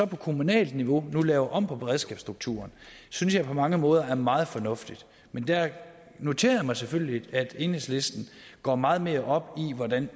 på kommunalt niveau laver om på beredskabsstrukturen synes jeg på mange måder er meget fornuftigt men der noterer jeg mig selvfølgelig at enhedslisten går meget mere op i hvordan